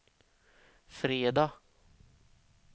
fredag